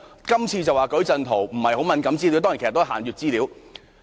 今次是數據矩陣，並非敏感資料，但當然，其實也是限閱資料。